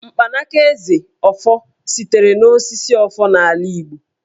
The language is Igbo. Mkpanaka Eze (ọfọ) sitere n'osisi Ọfọ n'ala Igbo.